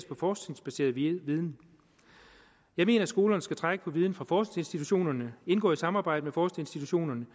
på forskningsbaseret viden jeg mener skolerne skal trække på viden fra forskningsinstitutionerne indgå i et samarbejde med forskningsinstitutionerne